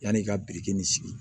Yanni ka biriki in sigi